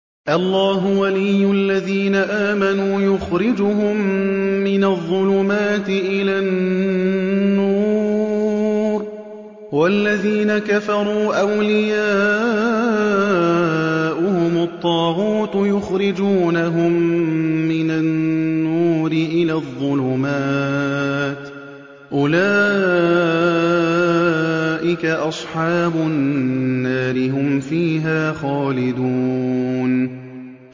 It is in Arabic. اللَّهُ وَلِيُّ الَّذِينَ آمَنُوا يُخْرِجُهُم مِّنَ الظُّلُمَاتِ إِلَى النُّورِ ۖ وَالَّذِينَ كَفَرُوا أَوْلِيَاؤُهُمُ الطَّاغُوتُ يُخْرِجُونَهُم مِّنَ النُّورِ إِلَى الظُّلُمَاتِ ۗ أُولَٰئِكَ أَصْحَابُ النَّارِ ۖ هُمْ فِيهَا خَالِدُونَ